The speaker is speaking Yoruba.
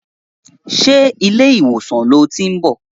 Ṣé ilé ìwòsàn lo tiń bọ̀?